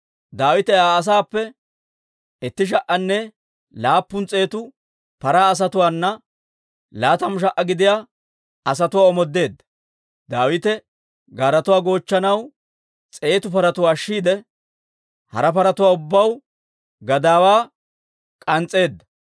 Daawite Aa asaappe itti sha"anne laappun s'eetu para'a asatuwaana laatamu sha"a gediyaa asatuwaa omoodeedda. Daawite gaaretuwaa goochchanaw s'eetu paratuwaa ashshiide, hara paratuwaa ubbaw gaaduwaa k'ans's'eedda.